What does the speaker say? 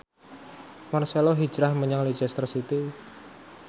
marcelo hijrah menyang Leicester City